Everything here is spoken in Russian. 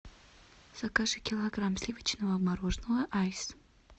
закажи килограмм сливочного мороженого айс